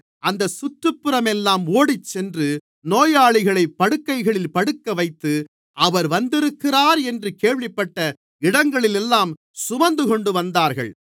அந்தச் சுற்றுபுறமெல்லாம் ஓடிச்சென்று நோயாளிகளைப் படுக்கைகளில் படுக்கவைத்து அவர் வந்திருக்கிறார் என்று கேள்விப்பட்ட இடங்களிலெல்லாம் சுமந்துகொண்டுவந்தார்கள்